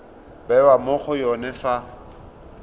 bewa mo go yone fa